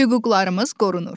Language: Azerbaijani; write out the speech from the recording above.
Hüquqlarımız qorunur.